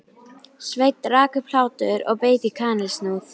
Sveinn rak upp hlátur og beit í kanilsnúð.